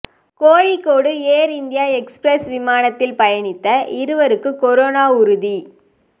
Kozhikode Air India Express விமானத்தில் பயணித்த இருவருக்கு கொரோனா உறுதி